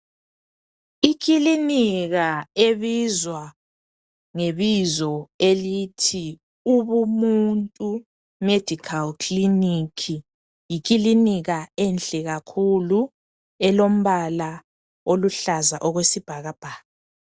Ekilinika ebizwa ngebizo elithi Ubumuntu Medical Clinic yikilinika enhle kakhulu elombala oluhlaza okwesibhakabhaka.